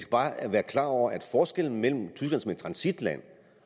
bare være klar over at forskellen mellem tyskland som et transitland